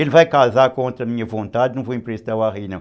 Ele vai casar contra a minha vontade, não vou emprestar o arreio não.